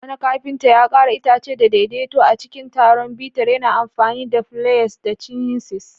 Wani kafinta ya ƙera itace da daidaito a cikin taron bitar, yana amfani da pliers da chisels.